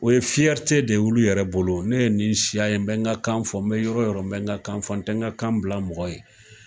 O ye de ye olu yɛrɛ bolo ,ne ye nin siya ye, n bɛ n ka kan fɔ, n bɛ yɔrɔ yɔrɔ n bɛ n ka kan fɔ, n tɛ n ka kan bila mɔgɔ ye.